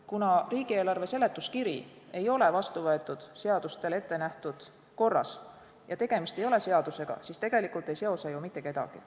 Kuna riigieelarve seletuskiri ei ole vastu võetud seadusele ette nähtud korras ja tegemist ei olegi seadusega, siis tegelikult ei seo see ju mitte kedagi.